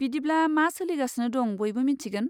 बिदिब्ला मा सोलिगासिनो दं बयबो मिथिगोन।